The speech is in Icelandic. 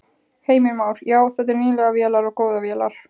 Heimir Már: Já, þetta eru nýlegar vélar og góðar vélar?